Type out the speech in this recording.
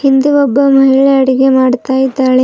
ಹಿಂದೆ ಒಬ್ಬ ಮಹಿಳೆ ಅಡುಗೆ ಮಾಡ್ತಾ ಇದ್ದಾಳೆ.